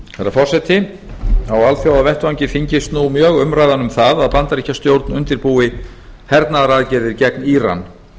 herra forseti á alþjóðavettvangi þyngist nú mjög umræðan um það að bandaríkjastjórn undirbúi hernaðaraðgerðir gegn íran